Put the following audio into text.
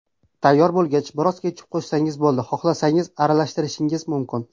Tayyor bo‘lgach, biroz ketchup qo‘shsangiz bo‘ladi, xohlasangiz aralashtirishingiz mumkin.